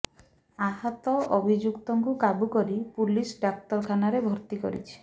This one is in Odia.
ଆହତ ଅଭିଯୁକ୍ତଙ୍କୁ କାବୁ କରି ପୁଲିସ ଡାକ୍ତରଖାନାରେ ଭର୍ତ୍ତି କରିଛି